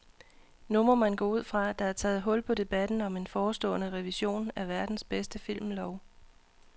Nu må man gå ud fra, at der er taget hul på debatten om en forestående revision af verdens bedste filmlov.